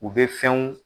U bɛ fɛnw